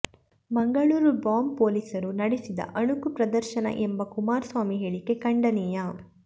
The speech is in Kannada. ಮಂಗಳೂರು ಬಾಂಬ್ ಪೊಲೀಸರು ನಡೆಸಿದ ಅಣಕು ಪ್ರದರ್ಶನ ಎಂಬ ಕುಮಾರಸ್ವಾಮಿ ಹೇಳಿಕೆ ಖಂಡನೀಯ